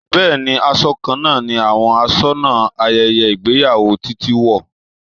Bẹẹni, aṣọ kan náà ni àwọn asónà ayẹyẹ ìgbéyàwó Títí wo.